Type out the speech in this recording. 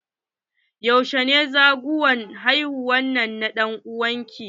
Yaushe ne ranar zagowar haihuwa na dan'uwan ki?